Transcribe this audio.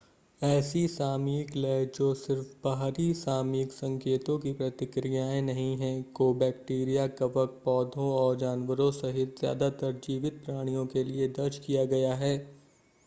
ऐसी सामयिक लय जो सिर्फ़ बाहरी सामयिक संकेतों की प्रतिक्रियाएं नहीं हैं को बैक्टीरिया कवक पौधों और जानवरों सहित ज़्यादातर जीवित प्राणियों के लिए दर्ज किया गया है